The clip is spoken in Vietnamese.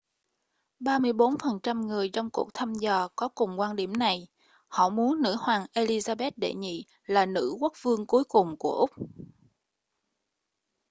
34 phần trăm người trong cuộc thăm dò có cùng quan điểm này họ muốn nữ hoàng elizabeth đệ nhị là nữ quốc vương cuối cùng của úc